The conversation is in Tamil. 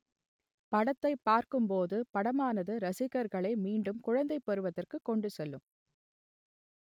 படத்தை பார்க்கும்போது படமானது ரசிகர்களை மீண்டும் குழந்தை பருவத்திற்கு கொண்டு செல்லும்